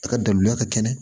A ka daliluya ka kɛnɛ